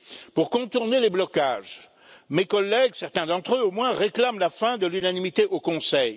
Pour contourner les blocages, mes collègues certains d'entre eux du moins réclament la fin de l'unanimité au Conseil.